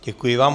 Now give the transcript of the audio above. Děkuji vám.